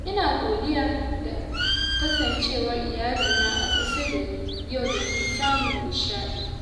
Ina godiya da kasancewar iyalina a kusa da ni Yau domin samun nishaɗi.